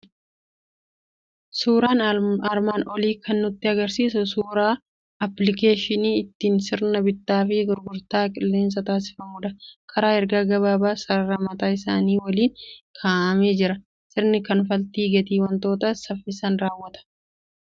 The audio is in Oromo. Suuraan armaan olii kan nutti argisiisu suuraa appilikeeshinii ittiin sirna bittaa fi gurgurtaa qilleensaa taasifamudha. Karaa ergaa gabaabaa sarara mataa isaanii waliin kaa'amee jira. Sirna kanfaltii gatii wantootaas saffisaan raawwata.